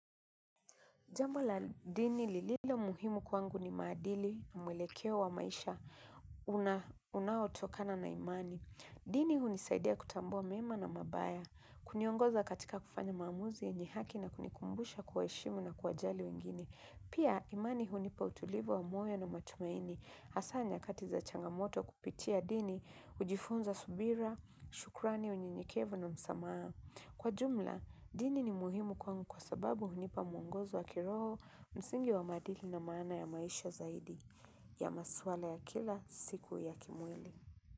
Jambo la dini lililo muhimu kwangu ni maadili, mwelekeo wa maisha, unaotokana na imani. Dini hunisaidia kutambua mema na mabaya, huniongoza katika kufanya maamuzi yenye haki na kunikumbusha kuwaheshimu na kuwajali wengine. Pia imani hunipa utulivu wa moyo na matumaini, hasa nyakati za changamoto kupitia dini, hujifunza subira, shukrani unyenyekevu na msamaha. Kwa jumla, dini ni muhimu kwangu kwa sababu hunipa mwongozo wa kiroho msingi wa maadili na maana ya maisha zaidi ya maswala ya kila siku ya kimwili.